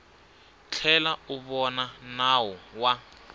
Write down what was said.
tlhela u vona nawu wa